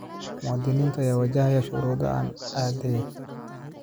Muwaadiniinta ayaa wajahaya shuruudo aan caddayn.